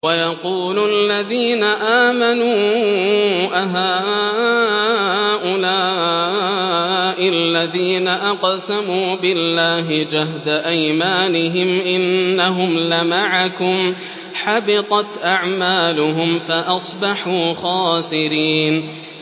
وَيَقُولُ الَّذِينَ آمَنُوا أَهَٰؤُلَاءِ الَّذِينَ أَقْسَمُوا بِاللَّهِ جَهْدَ أَيْمَانِهِمْ ۙ إِنَّهُمْ لَمَعَكُمْ ۚ حَبِطَتْ أَعْمَالُهُمْ فَأَصْبَحُوا خَاسِرِينَ